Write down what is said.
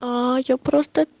аа я просто